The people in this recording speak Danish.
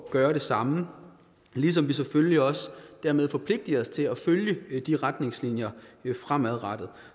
at gøre det samme ligesom vi selvfølgelig også dermed forpligter os til at følge de retningslinjer fremadrettet